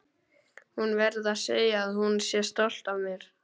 Hún verði að segja að hún sé stolt af mér.